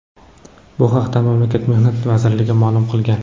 Bu haqda mamlakat Mehnat vazirligi ma’lum qilgan.